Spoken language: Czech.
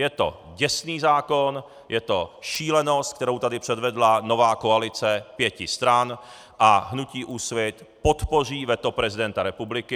Je to děsný zákon, je to šílenost, kterou tady předvedla nová koalice pěti stran, a hnutí Úsvit podpoří veto prezidenta republiky.